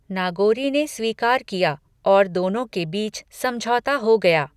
नागोरी ने स्वीकार किया और दोनों के बीच समझौता हो गया।